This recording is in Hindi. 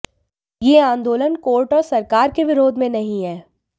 यह आंदोलन कोर्ट और सरकार के विरोध में नहीं है